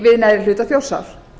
við neðri hluta þjórsár